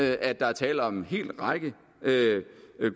at der er tale om en hel række